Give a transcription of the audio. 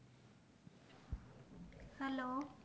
hello